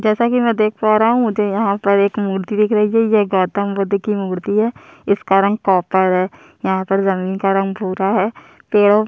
जैसा की मै देख पा रहा हु मुझे यहाँ पर एक मूर्ति दिखी रही है ये गौतम बुद्ध की मूर्ति है इसका रंग कॉपर है यहाँ पर जमीन का रंग भूरा है पेडो--